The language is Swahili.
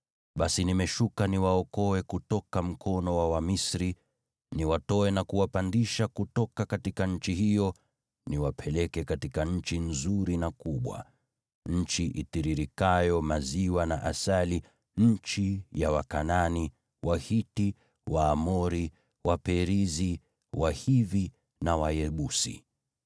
Basi nimeshuka niwaokoe kutoka mkono wa Wamisri, niwatoe na kuwapandisha kutoka nchi hiyo, niwapeleke katika nchi nzuri na kubwa, nchi itiririkayo maziwa na asali, nchi ya Wakanaani, Wahiti, Waamori, Waperizi, Wahivi na Wayebusi.